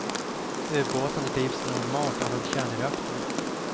Ubåten drivs normalt av en kärnreaktor.